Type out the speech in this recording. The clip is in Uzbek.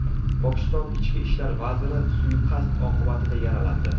Pokiston ichki ishlar vaziri suiqasd oqibatida yaralandi.